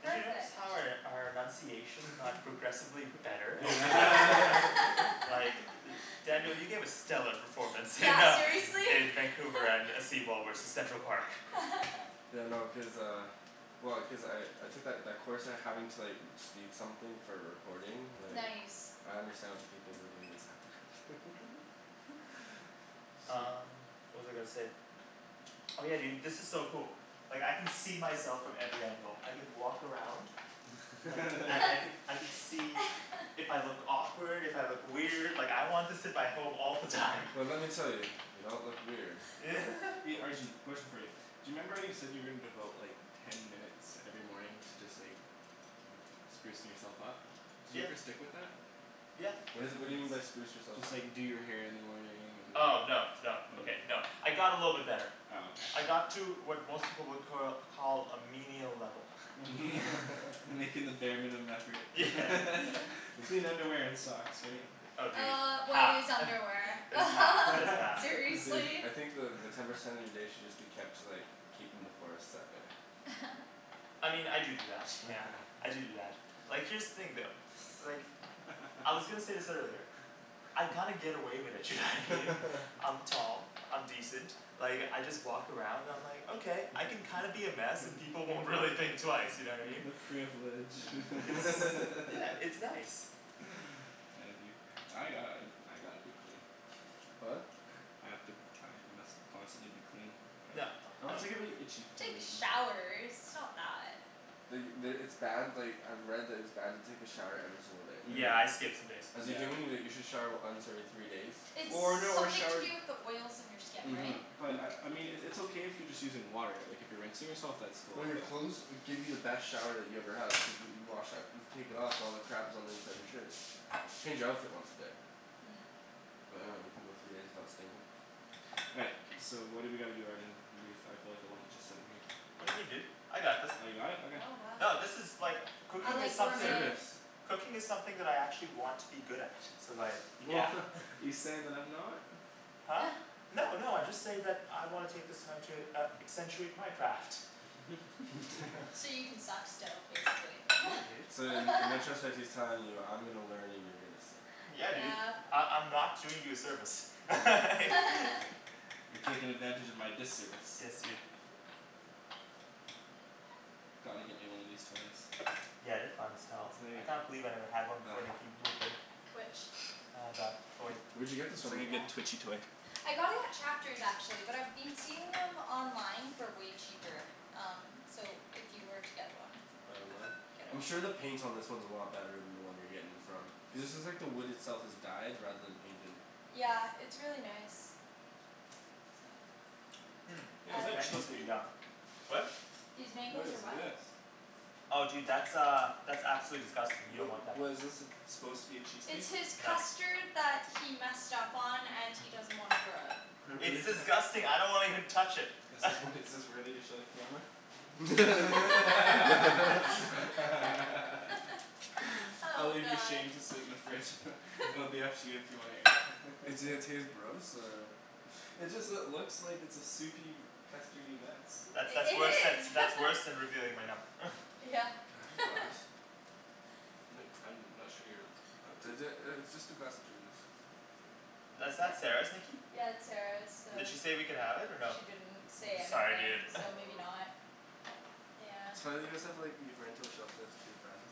Did you notice Perfect. how our our enunciation got progressively better? Like, Daniel, you gave a stellar performance in Yeah, uh seriously. in Vancouver and uh seawall versus Central Park. Yeah, no cuz uh, well cuz I I took that that course and having to like speak something for a recording like Nice I understand what the people who are doing this have to go through Um, what was I gonna say? Oh yeah, dude, this is so cool. Like I can see myself from every angle, I can walk around. And, I can I can see if I look awkward, if I look weird, like I want this in my home all the time. Well let me tell you, you don't look weird. Arjan, question for you. Do you remember how you said you were gonna devote like ten minutes every morning to just like sprucing yourself up? Did you Yeah ever stick with that? Yeah What is it what do you mean by spruce yourself Just up? like do your hair in the morning and Oh no no okay no I got a little bit better Oh okay I got to what most people would cur call a menial level. Making the bare minimum effort clean underwear and socks, right? Oh dude, Uh what half is underwear just half just half Dude, seriously? I think the the ten percent of your day should just be kept to like keeping the forest out there. I mean, I do do that yeah, I do do that, like here's the thing though. Like, I was gonna say this earlier. I kinda get away with it, you know what I mean? I'm tall, I'm decent, like I just walk around and I'm like, okay I can kinda be a mess and people won't really think twice, you know what I mean? The privilege Yeah, it's nice I envy you I got- I gotta be clean. What? I have to I must constantly be clean No, or else no. I get really itchy for some Take reason. showers, it's not that. The the, it's bad like I've read that it's bad to take a shower every single day. Yeah, I skip some days. As a human you like you should shower once every three days. Or no, or Something to shower do with the oils in your skin, Mhm right? But, I I mean it it's okay if you're just using water like if you're rinsing yourself that's cool Well your but clothes will give you the best shower that you ever had which is what you wash out you take it off all the crap that's on the inside of your shirt. Change your outfit once a day. But I dunno you can go three days without stinkin'. All right, so what do we gotta do, Arjan? I feel like a lump just sittin' here. What do you mean dude, I got this. You got it? Okay. Oh wow No this is like, cooking is something, cooking is something that I actually want to be good at so like, yeah You saying that I'm not? No no I just say that I wanna take this time to uh accentuate my craft. So you can suck still, basically. So then, and I trust that he's telling you I'm gonna learn and you're gonna sit. Yeah dude, I- I'm not doing you a service You're taking advantage of my disservice. Yes, dude. Gotta get me one of these toys. Yeah, they're fine as hell, I It's can't believe I never had one like before Nikki moved in. Which? Uh, that toy. Where'd you get this from? I got it at Chapters actually, but I've been seeing them online for way cheaper, um so if you were to get one I'm sure the paint on this one is a lot better than the one you're getting from, cuz this is like the wood itself is dyed rather than painted. Yeah, it's really nice. Mm, Yo, these is that mangoes are cheesecake? yum. What? These What mangoes is are what? this? Oh dude that's uh, that's absolutely disgusting, you Wha- don't want that. What is this it's supposed to be a It's cheesecake? his custard that he messed up on and he doesn't wanna throw out. It's disgusting, I don't wanna even touch it Is this wor- is this worthy to show the camera? I'll Oh, leave your god shame to sit in the fridge it'll be up to you if you wanna air it. Does it taste gross or It just lo- looks like a soupy, custardy mess. That's that's I- it worse than is that's worse than revealing my num- Yeah, Can I have your glass? I'm not sure here, what? Is it uh it's just a glass of juice. Is that Sarah's, Nikki? Yeah that's Sarah's, so Did she say we could have it or no? She didn't say Sorry anything, dude so maybe not, yeah So why don't you guys have like, you rent out shelf space to your friends?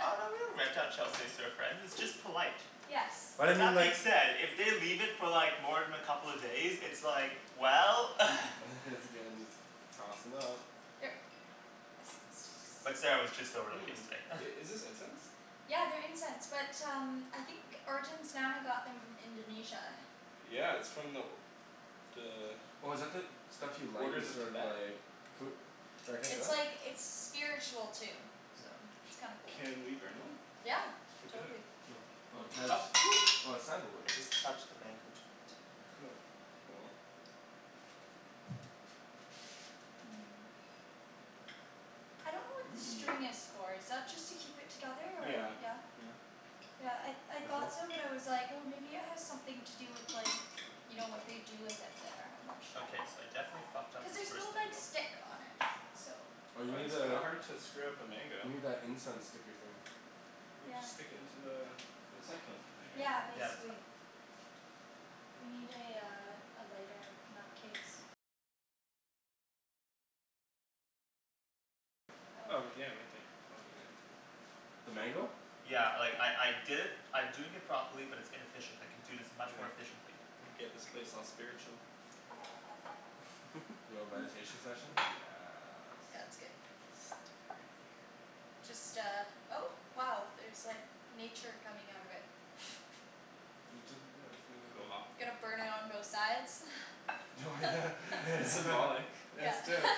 Oh no we don't rent out shelf space to our friends, it's just polite. Yes. Why But didn't you that being like- said, if they leave it for like more than a couple of days it's like, well has to get in this, tossin' out Here. But Sarah was just over like Mm, yesterday i- is this incense? Yeah, they're incense, but um, I think Arjan's nana got them from Indonesia. Yeah, it's from the The Oh is that the, stuff you like orders that's of sort of Tibet like, It's like it's spiritual too, so it's kinda cool. Can we burn one? Yeah, For dinner. totally. Oh Titus, oh it's sandalwood. I just touched the mango jui- Oh, oh well. I don't know what the string is for, is that just to keep it together or? Yeah, Yeah? yeah. Yeah, I I thought so but I was like oh maybe it has something to do with like, you know what they do with it there, I'm not sure. Okay, so I definitely fucked up Cuz this there's first no like mango. stick on it, so Oh you Well need it's kinda the, hard to screw up a mango. you need that incense sticker thing. We just stick into the the succulent thing right? Yeah, Yeah, that's basically. fine. Oh yeah right there, that'll be good. The mango? Yeah, like I I did it I'm doing it properly but it's inefficient, I can do this much Anyway, more efficiently. let me get this place all spiritual. Yo, meditation session, yes. Yeah, that's good. Just uh, oh wow there's like nature coming out of it It doesn't, Go off yeah, Gonna burn it on both sides Yeah That's it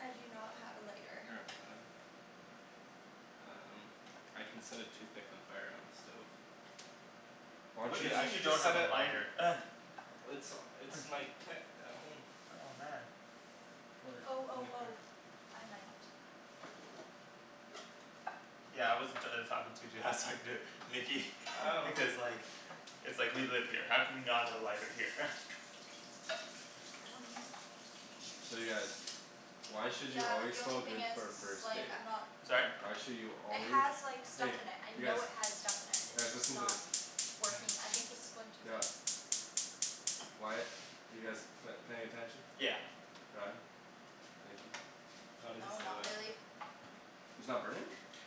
I do not have a lighter. Um, I can set a toothpick on fire on the stove. Why What don't do you Wait, you I mean just you should just don't set have a it on lighter? It's it's in my kit at home. Oh man. Or, I Oh don't oh really care oh, I might. Yeah I wasn't talking to you dude I was talking to Nikki because like It's like we live here, how can we not have a lighter here? Um I'm not sure. So yeah, why should you Yeah but always the smell only thing good is for a first it's like date? I'm not Sorry? Why should you It always, has like stuff hey in it, I you guys, know it has stuff in it. It's guys just listen to this not working. I think this one too is out. Why- you guys p- paying attention? Yeah. Ryan? Thank you. No it doesn't No, stay not lit. really It's not burning?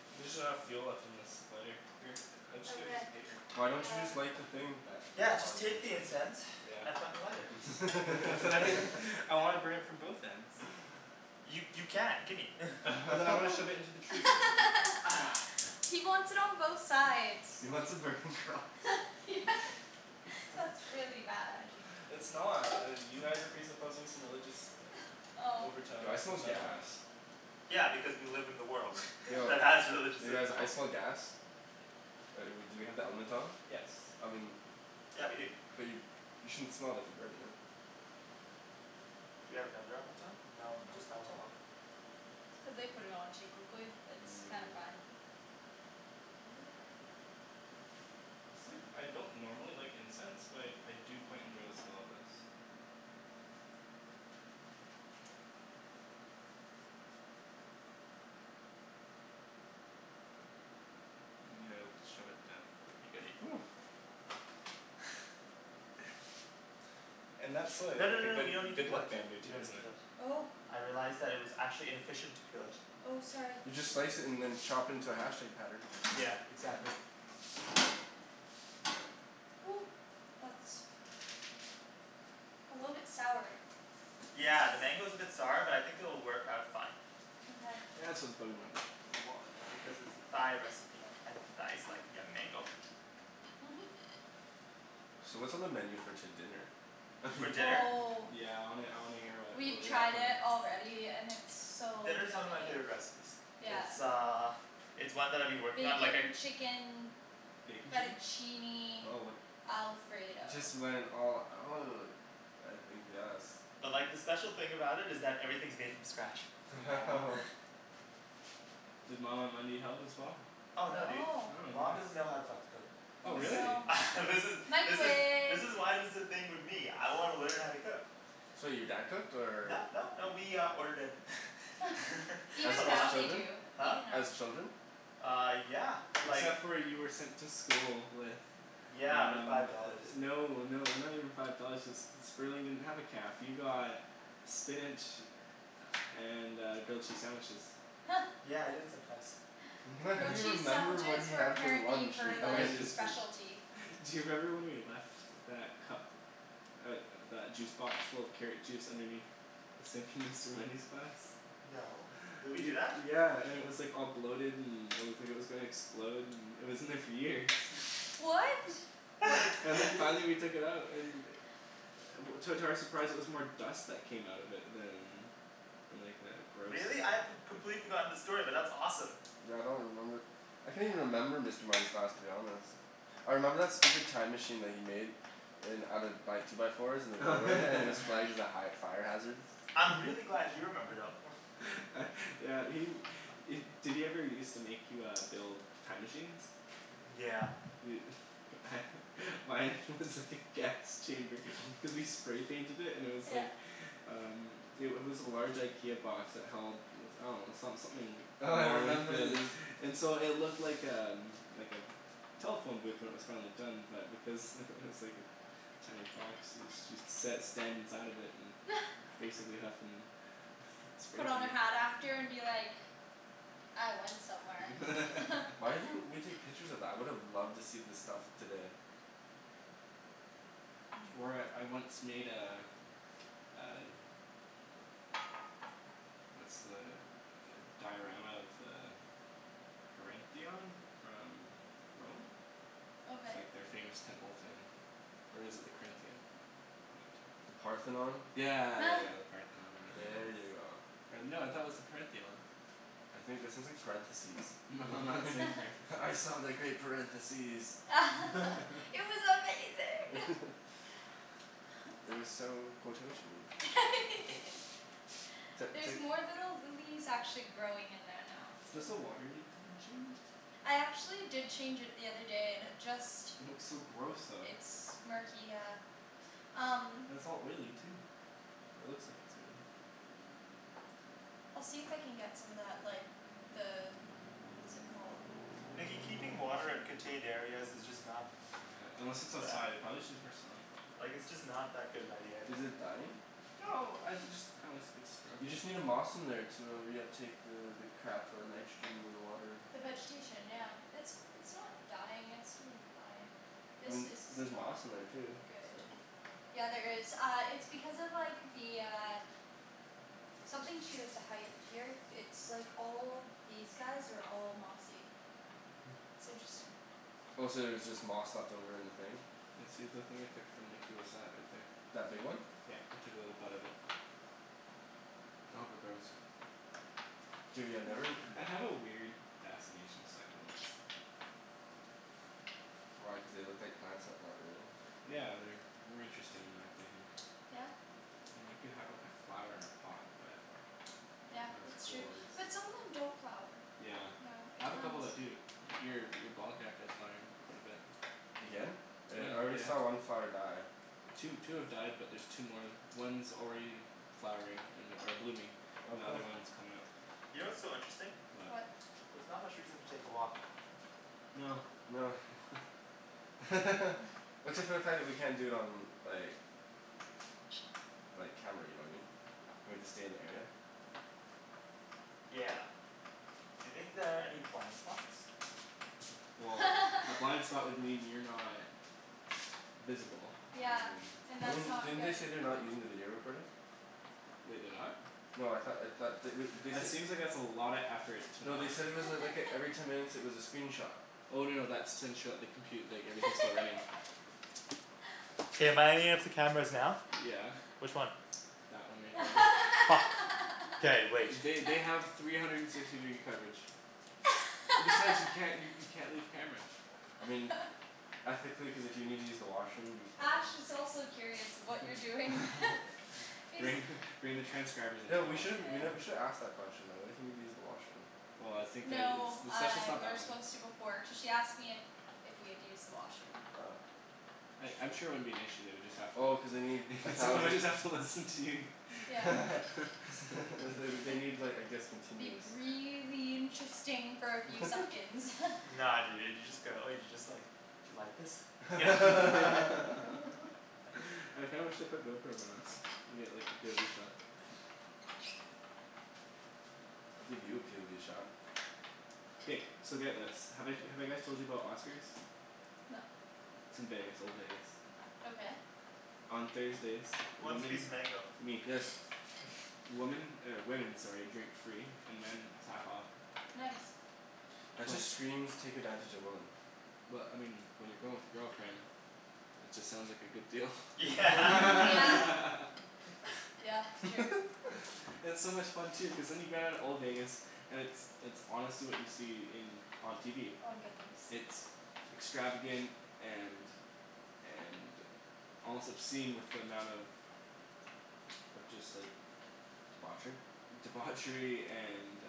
There's just not enough fuel left in this lighter. Here, I'll just get a Okay, piece of paper. Why don't you uh just light the thing? Yeah, just take the incense and fucking light it. I wanna burn it from both ends. You you can, gimme But then I wanna shove it into the tree He wants it on both sides. He wants a burning cross. That's really bad. It's not, uh you guys are presupposing some religious overtone Yo I smell gas. Yeah because we live in the world that has religious You guys, rituals. I smell gas. Uh we do we have the element on? I mean - but you you shouldn't smell if you're burning it. Do we have another element on? No, No, just it's that one. not on. Cuz they put it on too quickly, it's kinda fine. It's like I don't normally like incense but I I do quite enjoy the smell of this. Yeah, shove it down No no no no we don't need to peel that, we don't need to peel that. Oh I realized that it was actually inefficient to peel it. Oh, sorry. You just slice it and then chop it into a hashtag pattern. Yeah, exactly. Ooh, that's A little bit sour. Yeah, the mango's a bit sour but I think it'll work out fine. Mkay Yeah, it's for the bug in my butt, my wallet Because it's a Thai recipe and Thais like young mango. Mhm So what's on the menu for to- dinner? For dinner? Oh Yeah I wanna I wanna hear wha- what We've we got tried it planned. already and it's so Dinner's one yummy. of my favorite recipes. Yeah It's uh it's one that I've been working on like I Bacon chicken Bacon chicken? fettuccine alfredo Just went all out. I think yes. But like the special thing about it is that everything's made from scratch. Does mama help as well? Oh no dude, No. Oh man. mom doesn't know how to fucking cook. Oh Oh This really? no. This is this is this Microwave is why there's this thing with me. I wanna learn how to cook. So your dad cooked or No, no, no, we uh ordered in As a Even as now lot they children? do, Huh? even now. As children? Uh, yeah, like Except for you were sent to school with Yeah, but Um, five dollars, it's like no no they're not even five dollars cuz Sperling didn't have a caf, you got spinach and uh grilled cheese sandwiches. Yeah, I did sometimes. Grilled You cheese remember what sandwiches he were had for apparently lunch in her I like elementary just school. specialty. Do you remember when we left that cup, uh that juice box full of carrot juice underneath the sink in Mr. Mundy's class? No, did we do that? Yeah, and it was like all bloated and it looked like it was gonna explode and it was in there for years. What? And then finally we took it out and To- to our surprise it was more dust that came out of it than than like uh gross Really? I've com- completely forgotten the story, but that's awesome. Yeah I don't remember. I can't even remember Mr. Mundy's class to be honest. I remember that stupid time machine that he made. In out of by two by fours in the doorway and it was flagged as a high fire hazard. I'm really glad you remember though uh yeah he- did he ever used to make you uh build time machines? Yeah. Dude mine was just like a gas chamber cuz we spray painted it and it was like Yeah Um, it wa- was a large IKEA box that held I dunno, some- something Oh, I long and remember thin the and so it looked like um, like a telephone booth when it was finally done but because it was like this tiny box so- so you sat or stand inside of it and basically huffin' spray Put on a hat after paint and be like "I went somewhere" Why didn't we take pictures of that? I would've loved to see the stuff today. Or I- I once made a uh What's the uh diorama of the Parentheon? From Rome? Okay Like their famous temple thing. Or is it the Corinthian? One of the The two. Parthenon? Yeah yeah yeah yeah, the Parthenon or whatever There you it go. was. Or no, I thought it was the "Parentheon". I think that sounds like parentheses. No I'm not saying parentheses. "I saw the great parentheses." It was amazing It was so quototion-y it's li- it's There's like more little lilies actually growing in there now. Does the water need to be changed? I actually did change it the other day and it just It looks so gross though. It's murky, yeah. Um And it's all oily too. Or it looks like it's oily. I'll see if I can get some of that like the What is it called? Nikki keeping water in contained areas is just not Yeah, unless it's outside, it prolly just needs more sun. Like it's just not that good of an idea, I Is think. it dying? No, I- it just kinda looks like it's You struggling. just need a moss in there to uh reuptake the the crap uh nitrogen in the water. The vegetation yeah, it's it's not dying it's doing fine. I This mean, there's is not moss in there too, good. so Yeah, there is, uh it's because of like the uh Something to do with the height here, it's like all these guys are all mossy. It's interesting. Oh so there's just moss left over in the thing? Yeah, see that thing I took from Nikki was that right there. That big one? Yeah, I took a little bud off it. I hope it grows. Dude, yeah, I never I have a weird fascination with succulents. Why, cuz they look like plants but not really? Yeah, they're more interesting in my opinion. Yeah? I mean, you can have like a flower in a pot, but Yeah, Not as that's true, cool as but some of them don't flower. Yeah, Yeah, it I have a couple depends. that do. Your- your ball cacti is flowering quite a bit Again? Yeah, I already saw yeah. one flower die. Two two have died but there's two more. One's already flowering an- or blooming. Oh The cool. other one's comin' up. You know what's so interesting? What? There's not much reason to take a walk. No. No except for the fact that we can't do it on like like, camera, you know what I mean? We have to stay in the area. Yeah. You think there are any blind spots? Well, a blind spot would mean you're not visible, Yeah, and and I that's mean, not didn't they say good. they're not using the video recording? Wait, they're not? No, I thought I thought they wou- they That said seems like it's a lotta effort to No, not they said it was a like a every ten minutes it was a screenshot. Oh no no that's to ensure the compu- like everything's still running. K, am I on any of the cameras now? Yeah. Which one? That one right there. Fuck. K, wait. They they have three hundred and sixty degree coverage. Besides you can't you you can't leave camera. I mean ethically, cuz if you need to use the washroom you Ash can. is also curious of what you're doing Bring He's- bring the transcribers into Yo, the we should've washroom we with nev- you. we should've asked the question though. What if you need to use the washroom? Well I think that it's No, the uh session's not we were that long. supposed to before cuz she asked me if if we had used the washroom. Oh. I- I'm sure it wouldn't be an issue, they would just have to Oh cuz they need a thousand Somebody's have to listen to you Yeah they wou- they need like I guess It'd continuous be really interesting for a few seconds Nah dude, you just go like, you just like, "do you like this?" I kinda wish they put GoPros on us. We'd get like the POV shot. I'll give you a POV shot. K, so get this. Have I- have I guys told you about Oscar's? No. It's in Vegas, old Vegas. Okay. On Thursdays, Who wants a piece of women mango? Me. Yes. Woman, or women, sorry, drink free and men half off. Nice. That just screams take advantage of women. Well, I mean, when you're going with your girlfriend, it just sounds like a good deal Yeah Mm, yeah. Yeah, true. It's so much fun too, cuz then you get out of old Vegas. And it's it's honestly what you see in on TV. Oh I'm good, thanks. It's extravagant and and, almost obscene with the amount of of just like Debauchery? Debauchery and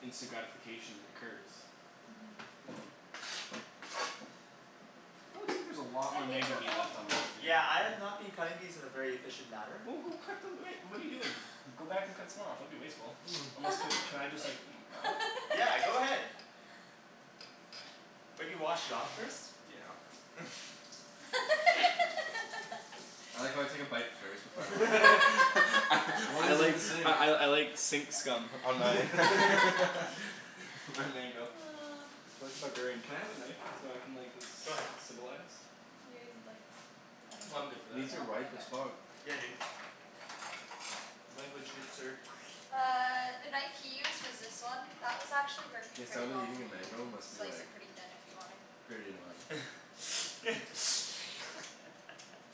instant gratification occurs. That looks like there's a lot I more think mango the meat old left on those, dude. Yeah, I have not been cutting these in a very efficient manner. Well, go cut them, I mean, what are you doing? Go back and cut some more off, don't be wasteful. Almost can, can I just gnaw? Yeah, go ahead. Maybe wash it off first. Yeah I like how I take a bite first before I wash it. I What I was in like the sink? I I I like sink scum on my my mango like a barbarian. Can I have a knife? So I can like look Go ahead. civilized? You didn't like I dunno. I'm good for that. These are No? ripe Okay as fuck. Yeah dude. Language, good sir. Uh the knife he used was this one. That was actually working The pretty sound of well for eating a me, you mango can must be slice like, it pretty thin if you want to pretty annoying.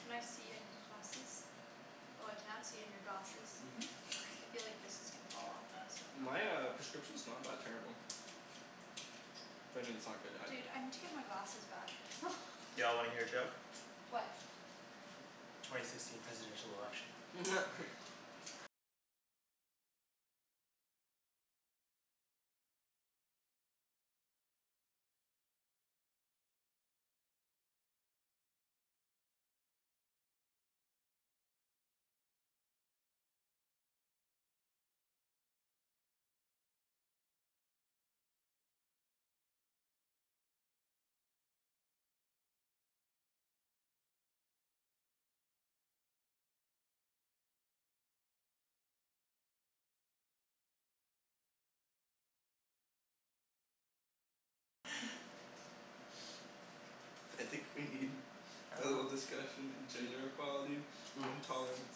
Can I see in your glasses? Oh I can't see in your glasses. I feel like this is gonna fall off or My uh prescription's not that terrible. I mean it's not good either. Dude, I need to get my glasses back Y'all wanna hear a joke? What? Twenty sixteen presidential election. I think we need a little discussion in gender equality and tolerance.